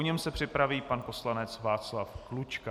Po něm se připraví pan poslanec Václav Klučka.